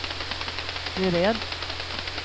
beredd